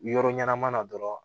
Yɔrɔ ɲɛnama na dɔrɔn